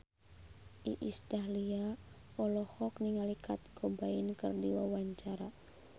Iis Dahlia olohok ningali Kurt Cobain keur diwawancara